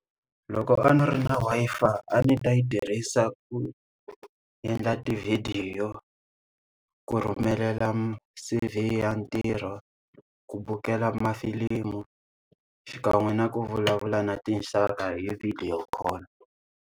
Loko a ndzi ri na Wi-Fi a ni ta yi tirhisa ku endla tivhidiyo, ku rhumela C_V ya ntirho, ku vukela mafilimu, xikan'we na ku vulavula na tinxaka hi video call.